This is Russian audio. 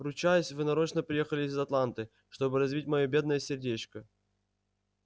ручаюсь вы нарочно приехали из атланты чтобы разбить моё бедное сердечко